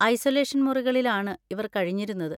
Isolation മുറികളിലാണ് ഇവർ കഴിഞ്ഞിരുന്നത്.